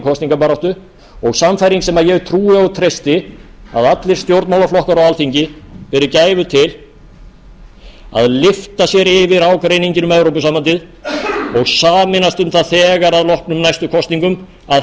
kosningabaráttu og sannfæring sem ég trúi og treysti að allir stjórnmálaflokkar á alþingi beri gæfu til að lyfta sér yfir ágreininginn um evrópusambandið og sameinast um það þegar að loknum næstu kosningum að